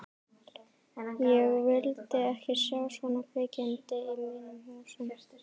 Ég vil ekki sjá svona kvikindi í mínum húsum!